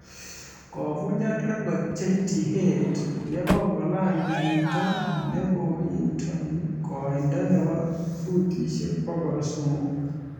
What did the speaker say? Kovunjan record JT Head yekongolany puto nekotindoi koindo nebo futishek bokol somok